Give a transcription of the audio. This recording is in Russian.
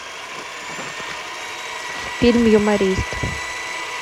фильм юморист